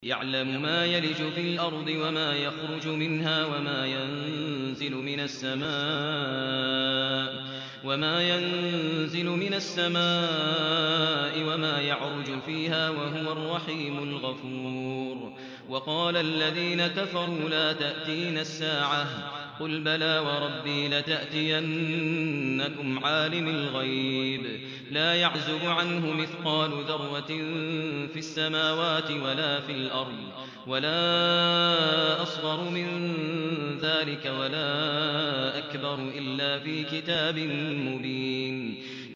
يَعْلَمُ مَا يَلِجُ فِي الْأَرْضِ وَمَا يَخْرُجُ مِنْهَا وَمَا يَنزِلُ مِنَ السَّمَاءِ وَمَا يَعْرُجُ فِيهَا ۚ وَهُوَ الرَّحِيمُ الْغَفُورُ